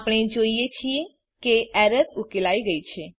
આપણે જોઈએ છીએ કે એરર ઉકેલાઈ ગઈ છે